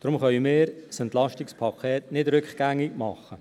Deshalb können wir das EP nicht rückgängig machen.